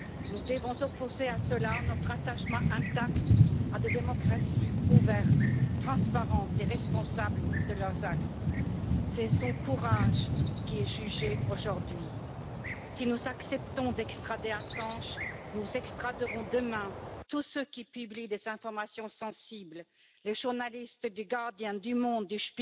Nous devons opposer à cela notre attachement intact à des démocraties ouvertes, transparentes et responsables de leurs actes. C'est son courage qui est jugé aujourd'hui. Si nous acceptons d'extrader Assange, nous extraderons demain tous ceux qui publient des informations sensibles les journalistes du du